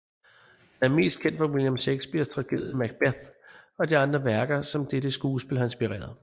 Han er mest kendt fra William Shakespeares tragedie Macbeth og de værker som dette skuespil har inspireret